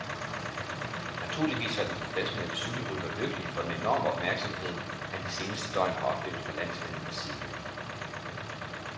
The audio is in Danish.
Naturligvis var den professionelle cykelkrytter lykkelig for den enorme opmærksomhed, han de seneste døgn har oplevet fra landsmændenes side.